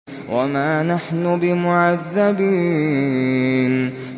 وَمَا نَحْنُ بِمُعَذَّبِينَ